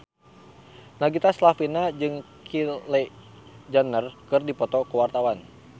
Nagita Slavina jeung Kylie Jenner keur dipoto ku wartawan